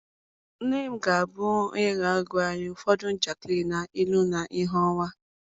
nne m ga-abụ onye ga-agwa anyị ụfọdụ njakịrị na ilu na ìhè ọnwa.